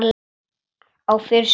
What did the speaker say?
Á fyrstu árum